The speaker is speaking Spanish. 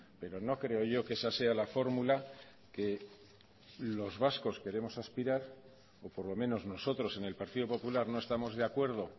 pero no creo yo que esa sea la fórmula que los vascos queremos aspirar o por lo menos nosotros en el partido popular no estamos de acuerdo